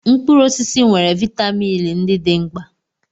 Mkpụrụ osisi nwere vitamin ndị dị mkpa.